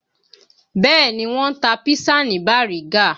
Bẹ́ẹ̀ ni, Wọ́n ń tà písà ní Bariga